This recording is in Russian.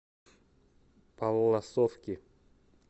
палласовки